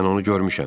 Mən onu görmüşəm.